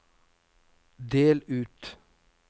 del ut